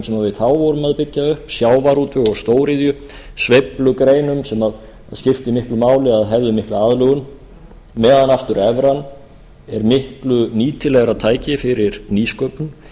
sem við þá vorum að byggja upp sjávarútveg og stóriðju sveiflugreinum sem skipti miklu máli að hefðu mikla aðlögun meðan aftur evran er miklu nýtilegra tæki fyrir nýsköpun fyrir þekkingariðnað fyrir stígandi lukku fyrir vaxtargreinar